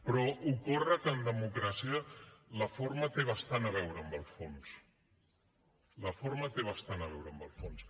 però ocorre que en democràcia la forma té bastant a veure amb el fons la forma té bastant a veure amb el fons